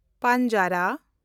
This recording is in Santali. ᱯᱟᱱᱡᱽᱟᱨᱟ